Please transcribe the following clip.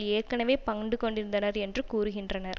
ஏற்கனவே பன்டு கொண்டிருந்தனர் என்று கூறுகின்றனர்